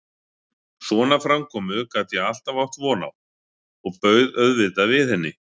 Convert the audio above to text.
Svona framkomu gat ég alltaf átt von á og bauð auðvitað við henni.